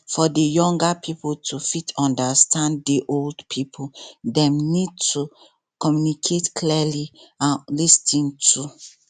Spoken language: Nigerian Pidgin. for di younger pipo to fit understand di old pipo dem need to communicate clearly and lis ten too